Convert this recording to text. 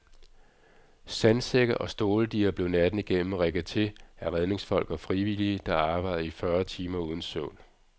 Sandsække og ståldiger blev natten igennem rigget til af redningsfolk og frivillige, der arbejdede i fyrre timer uden søvn.